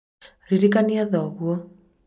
ririkania thoguo